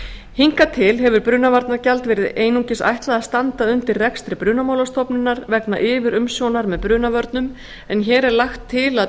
hingað til hefur brunavarnagjald verið einungis ætlað að standa undir rekstri brunamálastofnunar vegna yfirumsjónar með brunavörnum en hér er lagt til að